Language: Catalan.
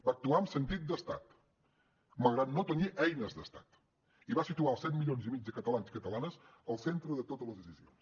va actuar amb sentit d’estat malgrat no tenir eines d’estat i va situar els set milions i mig de catalans i catalanes al centre de totes les decisions